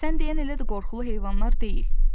Əşi, sən deyən elə də qorxulu heyvanlar deyil.